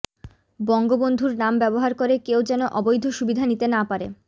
বঙ্গবন্ধুর নাম ব্যবহার করে কেউ যেন অবৈধ সুবিধা নিতে না পারে